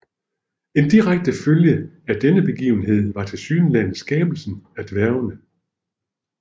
En direkte følge af denne begivenhed var tilsyneladende skabelsen af dværgene